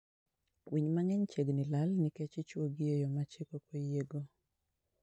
Winy mang'eny chiegni lal nikech ichwogi e yo ma chik ok oyiego.